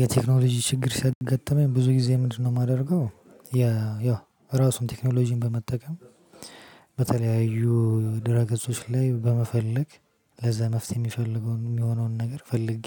የቴክኖሎጂ ችግር ሲያገጠመኝ ብዙ ጊዜ ምንድነው የማደርገው ያ ያው ራሱን ቴክኖሎጂን በመጠቀም በተለያዩ ድረ ገጾች ላይ በመፈለግ ለዛ መፍትሄ የሚፈልገውን የሚሆነውን ነገር ፈልጌ